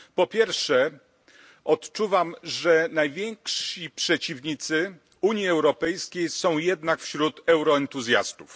Po pierwsze, odczuwam, że najwięksi przeciwnicy Unii Europejskiej są jednak wśród euroentuzjastów.